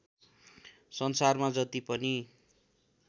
संसारमा जति पनि